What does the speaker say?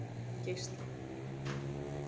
Geisli